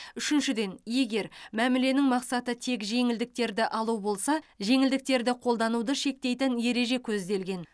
үшіншіден егер мәміленің мақсаты тек жеңілдіктерді алу болса жеңілдіктерді қолдануды шектейтін ереже көзделген